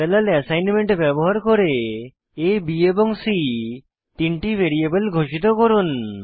parallel assignment ব্যবহার করে a b এবং c তিনটি ভ্যারিয়েবল ঘোষিত করুন